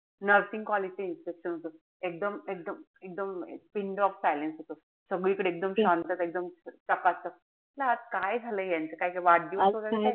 Nursing college चे inspection होत. एकदम एकदम pin drop silence. सगळीकडे एकदम शांतता. एकदम चकाचक. म्हणलं आज काय झालंय यांचं काय वाढदिवस वगैरे,